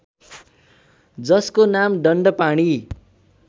जसको नाम दण्डपाणी